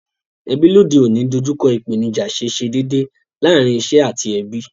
Ebí lóde ọ̀ní n dojúko ìpènijà síse dédè lárin isé àti ebí